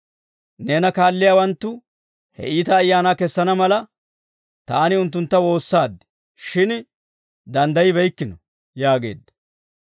Neena kaalliyaawanttu he iita ayaanaa kessana mala, taani unttuntta woossaad; shin danddaybbeykkino» yaageedda.